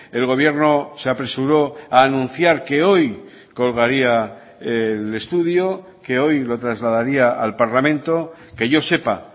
el gobierno se apresuró a anunciar que hoy colgaría el estudio que hoy lo trasladaría al parlamento que yo sepa